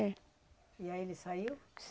É. E aí ele saiu?